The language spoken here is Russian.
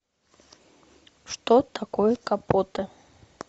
что такое капоты